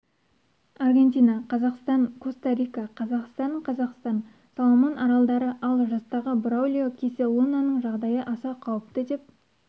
аргентина қазақстан коста-рика қазақстан қазақстан соломон аралдары ал жастағы браулио кисе лунаның жағдайы аса қауіпті деп